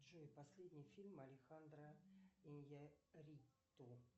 джой последний фильм алехандро иньярриту